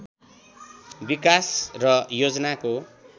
विकास र योजनाको